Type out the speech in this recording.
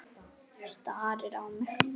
Starir á mig.